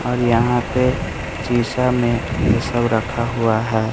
और यहां पे सीसा में ये सब रखा हुआ है।